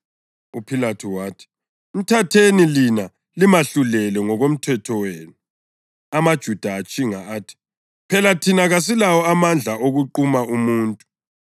UPhilathu wathi, “Mthatheni lina limahlulele ngokomthetho wenu.” AmaJuda atshinga athi, “Phela thina kasilawo amandla okuquma umuntu.”